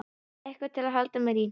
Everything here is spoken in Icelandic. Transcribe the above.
Eitthvað til að halda mér í.